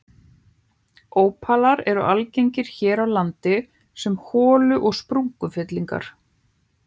Ópalar eru algengir hér á landi sem holu- og sprungufyllingar.